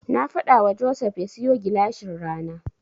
Na faɗawa Joseph ya siyo gilashin rana.